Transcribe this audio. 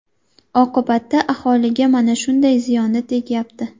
Oqibatda aholiga mana shunday ziyoni tegyapti.